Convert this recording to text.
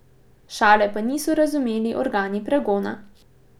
Šale pa niso razumeli organi pregona.